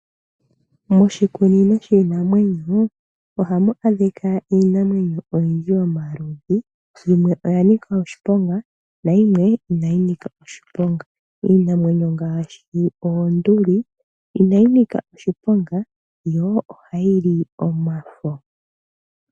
Moshikunino shiinamwenyo, ohamu adhika iinamwenyo oyindji yomaludhi, yimwe oya nika oshiponga nayimwe inayi nika oshiponga. Iinamwenyo ngaashi oonduli, inayi nika oshiponga, yo oha yili omafo.